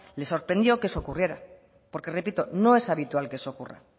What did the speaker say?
les sorprendió que eso ocurriera porque repito no es habitual que eso ocurra